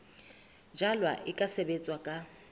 jalwa e ka sebetswa ka